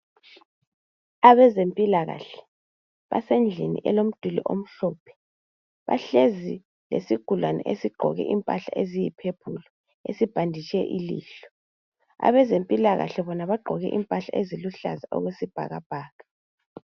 Abezempilakahle basendlini elomduli omhlophe bahlezi lesigulane esigqoke impahla eziyiphephulu esibhanditshe ilihlo. Abezempilakahle bona bagqoke impahla eziluhlaza okwesibhakabhaka.